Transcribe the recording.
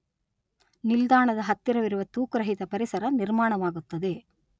ನಿಲ್ದಾಣದ ಹತ್ತಿರವಿರುವ, ತೂಕರಹಿತ ಪರಿಸರ ನಿರ್ಮಾಣವಾಗುತ್ತದೆ